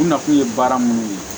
U na kun ye baara minnu ye